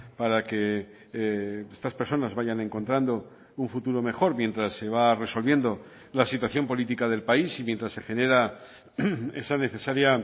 para que estas personas vayan encontrando un futuro mejor mientras se va resolviendo la situación política del país y mientras se genera esa necesaria